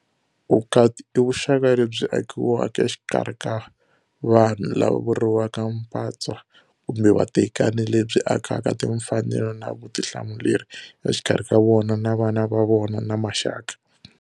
Vukati i vuxaka lebyi akiwaka exikarhi xa vanhu, lava vuriwaka mpatswa kumbe vatekani, lebyi akaka timfanelo na vutihlamuleri exikarhi ka vona, na vana va vona, na maxaka.